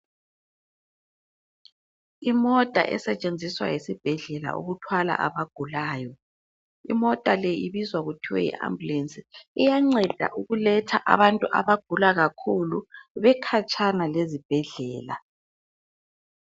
Imota esetshenziswa yisibhedlela ukuthwala abagulayo. Imota le ibizwa kuthwe yi Ambulance. Iyanceda ukuletha abantu abagula kakhulu bekhatshana lezibhedlela.